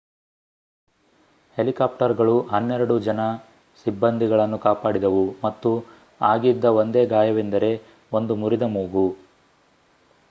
ಹೆಲಿಕಾಪ್ಟರ್‌ಗಳು ಹನ್ನೆರಡು ಜನ ಸಿಬ್ಬಂದಿಗಳನ್ನು ಕಾಪಾಡಿದವು ಮತ್ತು ಆಗಿದ್ದ ಒಂದೇ ಗಾಯವೆಂದರೆ ಒಂದು ಮುರಿದ ಮೂಗು